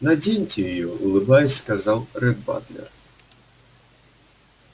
наденьте её улыбаясь сказал ретт батлер